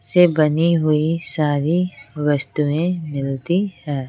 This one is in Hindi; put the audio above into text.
से बनी हुई सारी वस्तुएं मिलती हैं।